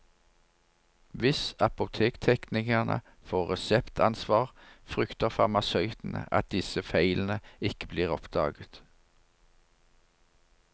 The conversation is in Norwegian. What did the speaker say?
Hvis apotekteknikerne får reseptansvar, frykter farmasøytene at disse feilene ikke blir oppdaget.